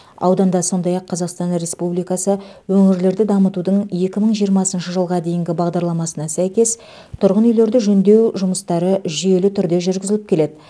ауданда сондай ақ қазақстан республикасы өңірлерді дамытудың екі мың жиырмасыншы жылға дейінгі бағдарламасына сәйкес тұрғын үйлерді жөндеу жұмыстары жүйелі түрде жүргізіліп келеді